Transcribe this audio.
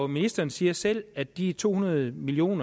ministeren siger selv at de to hundrede million